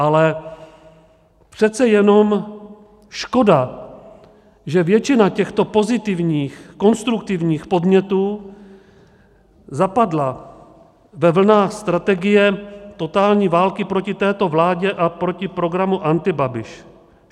Ale přece jenom škoda, že většina těchto pozitivních, konstruktivních, podnětů zapadla ve vlnách strategie totální války proti této vládě a proti programu Antibabiš.